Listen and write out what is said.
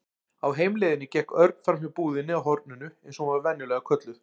Á heimleiðinni gekk Örn framhjá búðinni á horninu eins og hún var venjulega kölluð.